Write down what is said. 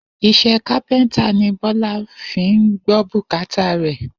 Is̩é̩ kápé̩ńtà ni Bó̩lá fi ń gbó̩ bùkátà rè̩